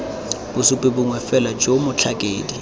bosupi bongwe fela jo motlhakedi